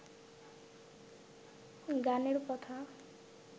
গানের কথা